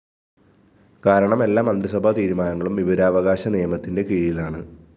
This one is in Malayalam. കാരണം എല്ലാ മന്ത്രിസഭാ തീരുമാനങ്ങളും വിവരാവകാശ നിയമത്തിന്റെ കീഴിലാണ്